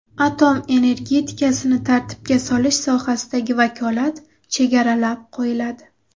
Atom energetikasini tartibga solish sohasidagi vakolat chegaralab qo‘yiladi.